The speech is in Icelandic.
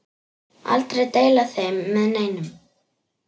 Aldrei deila þeim með neinum.